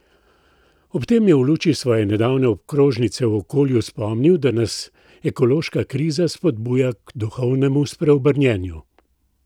Ob tem je v luči svoje nedavne okrožnice o okolju spomnil, da nas ekološka kriza spodbuja k duhovnemu spreobrnjenju.